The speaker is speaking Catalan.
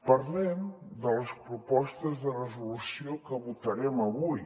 parlem de les propostes de resolució que votarem avui